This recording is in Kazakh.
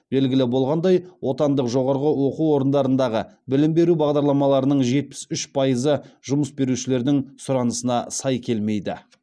белгілі болғандай отандық жоғарғы оқу орындарындағы білім беру бағдарламаларының жетпіс үш пайызы жұмыс берушілердің сұранысына сай келмейді